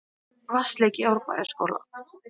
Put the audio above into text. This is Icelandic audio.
Vatnsleki í Árbæjarskóla